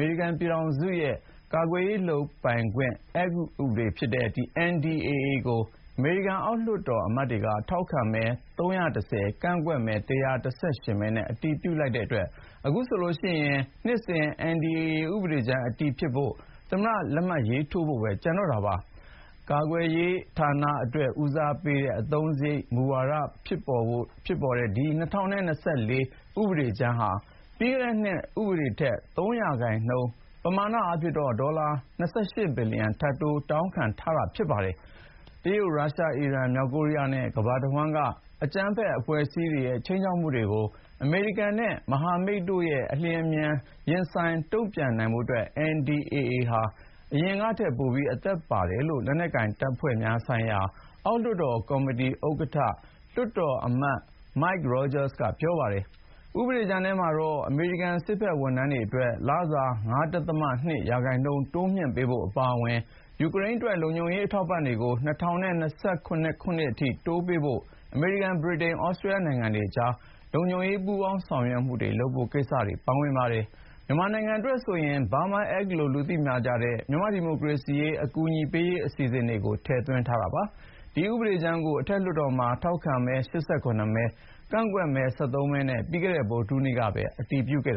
ေရိကန်ပြည်ထောင်စုရဲ့ ကာကွယ်ရေးလုပ်ပိုင်ခွင့်အက်ဥပဒေ NDAA ကို အမေရိကန်အောက်လွှတ်တော်အမတ်တွေက ထောက်ခံမဲ ၃၁၀ ကန့်ကွက်မဲ ၁၁၈ မဲနဲ့ အတည်ပြုလိုက်တဲ့အတွက် အခုဆိုရင် နှစ်စဉ် NDAA ဥပဒေကြမ်းအတည်ဖြစ်ဖို့ သမ္မတ လက်မှတ်ထိုးဖို့ပဲ ကျန်ပါတော့တယ်။ ကာကွယ်ရေးဌာနအတွက် ဦးစားပေးတဲ့ အသုံးစရိတ်မူဝါဒဖော်ပြတဲ့ ဒီ ၂၀၂၄ ဥပဒေကြမ်းဟာ ပြီးခဲ့တဲ့နှစ်ဥပဒေထက် ၃ ရာခိုင်နှုန်း ပမာဏအားဖြင့် ဒေါ်လာ ၂၈ ဘီလီယံ ထပ်တိုး တောင်းခံထားတာပါ။ တရုတ်၊ ရုရှား၊ အီရန်၊ မြောက်ကိုရီးယားနဲ့ ကမ္ဘာအဝှမ်းက အကြမ်းဖက်အဖွဲ့အစည်းတွေရဲ့ ခြိမ်းခြောက်မှုကို အမေရိကန်နဲ့မဟာမိတ်တို့ အလျင်အမြန်ရင်ဆိုင်တုံ့ပြန်နိုင်ဖို့ NDAA ဟာ ယခင်ကထက်ပိုပြီး အသက်ပါတယ်လို့ လက်နက်ကိုင်တပ်ဖွဲ့များဆိုင်ရာအောက်လွှတ်တော်ကော်မတီ ဥက္ကဋ္ဌ အောက်လွှတ်တော်အမတ် Mike Rogers က ပြောပါတယ်။ ဥပဒေကြမ်းထဲမှာတော့ အမေရိကန်စစ်ဖက်ဝန်ထမ်းတွေအတွက် လစာ ၅.၂ ရာခိုင်နှုန်းတိုးမြှင့်ပေးဖို့အပါအဝင် ယူကရန်းအတွက် လုံခြုံရေးအထောက်အပံ့ကို ၂၀၂၇ ခုနှစ်အထိ တိုးပေးဖို့၊ အမေရိကန် ဗြိတိန်နဲ့ ဩစတေးလျနိုင်ငံတွေကြား လုံခြုံရေးပူးပေါင်းဆောင်ရွက်ဖို့ကိစ္စတွေ ပါဝင်ပါတယ်။ မြန်မာနိုင်ငံအတွက်ဆိုရင် Burma ACT လို့သိကြတဲ့ မြန်မာဒီမိုကရေစီရေးအကူအညီပေးရေးအစီအစဉ်တွေကို ထည့်သွင်းထားတာပါ။ ဒီ ဥပဒေကြမ်းကို အထက်လွှတ်တော်မှာ ထောက်ခံမဲ ၈၇ မဲ ကန့်ကွက်မဲ ၁၃မဲနဲ့ ပြီးခဲ့တဲ့ဗုဒ္ဓဟူးနေ့ကပဲ အတည်ပြုခဲ့